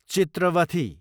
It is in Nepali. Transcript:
चित्रवथी